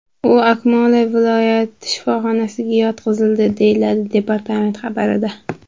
U Akmola viloyat shifoxonasiga yotqizildi”, deyiladi departament xabarida.